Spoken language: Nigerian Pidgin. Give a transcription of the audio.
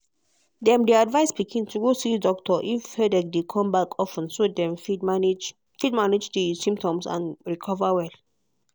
dem advise pikin to go see doctor if headache dey come back of ten so dem fit manage fit manage di symptoms and recover well.